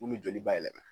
Mun bɛ joli bayɛlɛma